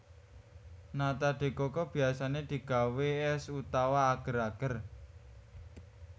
Nata de coco biyasané digawé és utawa ager ager